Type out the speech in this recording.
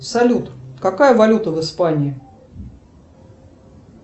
салют какая валюта в испании